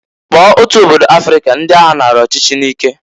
Kpọọ otu obodo Afrịka ndị agha nara ọchịchị nike.